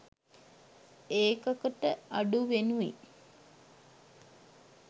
ඒකක ට අඩුවෙනුයි